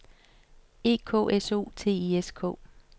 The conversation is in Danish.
E K S O T I S K